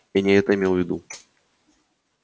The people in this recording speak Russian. я не это имел в виду